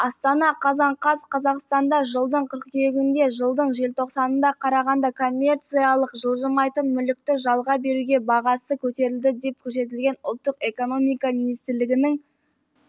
астана қазан қаз қазақстанда жылдың қыркүйегінде жылдың желтоқсанына қарағанда коммерциялық жылжымайтын мүлікті жалға беру бағасы көтерілді деп көрсетілген ұлттық экономика министрлігінің